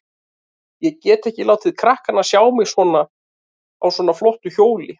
Ég get ekki látið krakkana sjá mig á svona flottu hjóli.